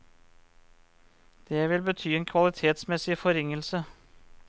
Det vil bety en kvalitetsmessig forringelse.